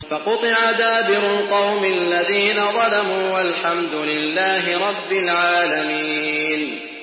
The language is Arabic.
فَقُطِعَ دَابِرُ الْقَوْمِ الَّذِينَ ظَلَمُوا ۚ وَالْحَمْدُ لِلَّهِ رَبِّ الْعَالَمِينَ